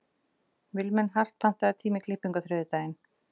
Vilmenhart, pantaðu tíma í klippingu á þriðjudaginn.